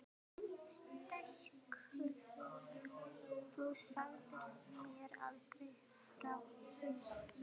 Augu mín stækkuðu: Þú sagðir mér aldrei frá því!